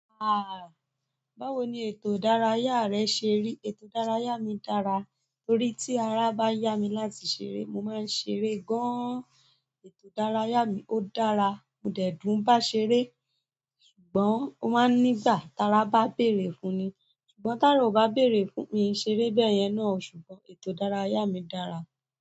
Báwo ni ètò ìdárayá rẹ̀ seri, ètò ìdárayá mi dára, torí tí ara bá ya mi láti ṣeré mo máa ń ṣeré gan, ètò ìdárayá mi ó dára. Mò dẹ̀ dùn bá ṣeré. Ṣùgbọ́n ó máa ń nígbà tara bá bèrè fún ni. Ṣùgbọ́n tara ò bá bèrè fún mi yi ṣeré bẹ́yẹn náà. Ṣùgbọ́n ètò ìdárayá mi dára.